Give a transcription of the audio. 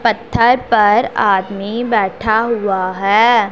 पत्थर पर आदमी बैठा हुआ है।